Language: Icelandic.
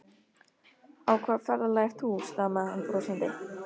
Á hvaða ferðalagi ert þú? stamaði hann brosandi.